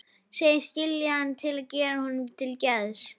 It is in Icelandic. Segist skilja hann til að gera honum til geðs.